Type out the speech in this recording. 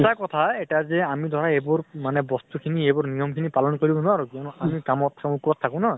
সঁচা কথা এইটা যে আমি ধৰা এইবোৰ মানে বস্তু খিনি, এইবোৰ নিয়ম খিনি পালন কৰিব নোৱাৰো। কিয়্নো আমি কামত চামত থাকো ন।